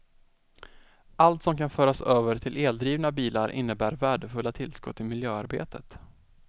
Allt som kan föras över till eldrivna bilar innebär värdefulla tillskott i miljöarbetet.